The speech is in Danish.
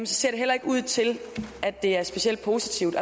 så ser det heller ikke ud til at det er specielt positivt